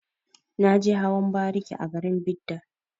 Na je hawan bariki a garin Bida.